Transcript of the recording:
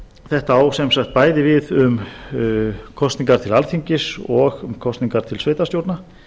þetta á sem sagt bæði við um kosningar til alþingis og um kosningar til sveitarstjórna